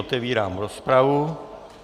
Otevírám rozpravu.